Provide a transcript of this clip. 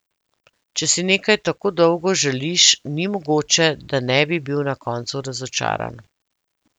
Če si nekaj tako dolgo želiš, ni mogoče, da ne bi bil na koncu razočaran.